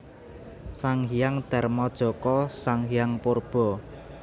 Sang Hyang Darmajaka Sang Hyang Purba